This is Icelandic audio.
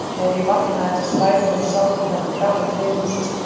Þegar ég vaknaði eftir svæfinguna sátu hjá mér gamall vinur og systir mín.